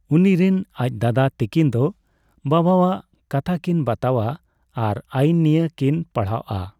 ᱩᱱᱤᱨᱮᱱ ᱟᱡ ᱫᱟᱫᱟ ᱛᱟᱠᱤᱱ ᱫᱚ ᱵᱟᱵᱟᱣᱟᱜ ᱠᱟᱛᱷᱟᱠᱤᱱ ᱵᱟᱛᱟᱣᱟ ᱟᱨ ᱟᱹᱭᱤᱱ ᱱᱤᱭᱟᱹ ᱠᱤᱱ ᱯᱟᱲᱦᱟᱣᱚᱜᱼᱟ᱾